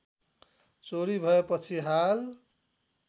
चोरी भएपछि हाल